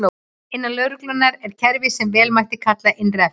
Innan lögreglunnar er kerfi sem vel mætti kalla innra eftirlit.